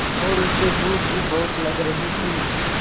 और उसे भूख भी बहुत लग रही थी